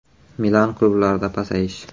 Milan klublarida pasayish.